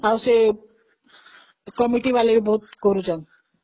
ଆଉ ସେ କମିଟି ବାଲା ବ ବହୁତ କରୁଛନ୍ତି